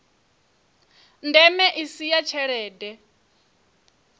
ndeme i si ya tshelede